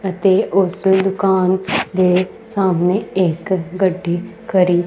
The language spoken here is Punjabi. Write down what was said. ਅਤੇ ਉਸ ਦੁਕਾਨ ਦੇ ਸਾਹਮਣੇ ਇੱਕ ਗੱਡੀ ਖੜੀ--